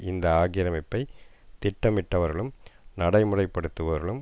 இந்த ஆக்கிரமிப்பை திட்டமிட்டவர்களும் நடைமுறைப்படுத்துபவர்களும்